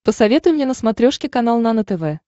посоветуй мне на смотрешке канал нано тв